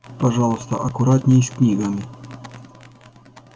пожалуйста аккуратней с книгами